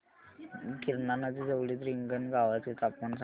गिरणा नदी जवळील रिंगणगावाचे तापमान सांगा